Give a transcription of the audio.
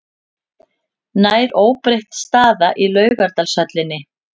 Nær óbreytt staða í Laugardalshöllinni